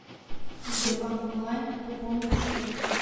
сбербанк онлайн пополнить счет